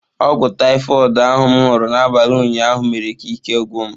Ọgwụ taịfọid ahụ m nụrụ n’abalị ụnyaahụ mere ka ike gwụ m.